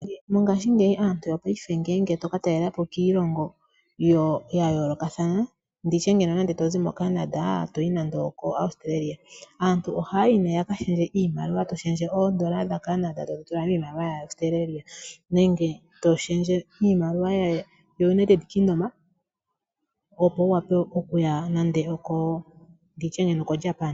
Mongashingeyi aantu yopaife ngeyi ngele to ka talelapo kiilongo ya yoolokathana, nditye ngeno nande to zi moCanada to yi nande oko Australia. Aantu ohaya yi nee ya ka lundulule iimaliwa, to lundulula oondola dha Canada to dhi tula miimaliwa ya Australia. Nenge to lundulula iimaliwa yo United Kingdom opo wu wape okuya nditye nande oko Japan.